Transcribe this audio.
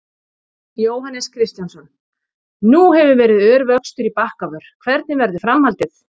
Jóhannes Kristjánsson: Nú hefur verið ör vöxtur í Bakkavör, hvernig verður framhaldið?